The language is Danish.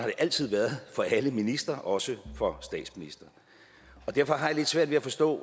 det altid været for alle ministre også for statsministeren derfor har jeg lidt svært ved at forstå